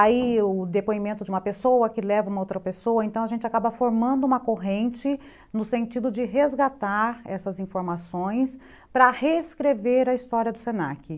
Aí o depoimento de uma pessoa que leva uma outra pessoa, então a gente acaba formando uma corrente no sentido de resgatar essas informações para reescrever a história do se na que